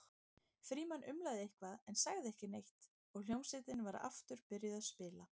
Frímann umlaði eitthvað en sagði ekki neitt og hljómsveitin var aftur byrjuð að spila.